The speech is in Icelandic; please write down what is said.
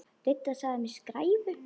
Didda sagði mig skræfu.